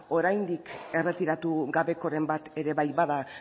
oraindik erretiratu gabekoren bat ere bai bada